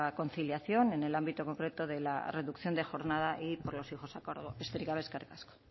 conciliación en el ámbito concreto de la reducción de jornada y por los hijos a cargo besterik gabe eskerrik asko